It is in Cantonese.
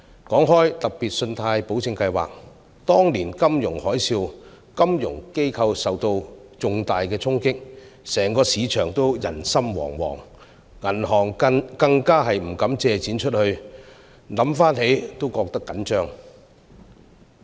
提到計劃，當年的金融海嘯令金融機構受到重大衝擊，整個市場也人心惶惶，銀行更不敢借出貸款，回想起來也覺得緊張。